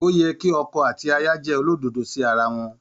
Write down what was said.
Ó yẹ kí ọkọ àti aya jẹ́ olódodo sí ara wọn.